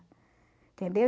Entendeu?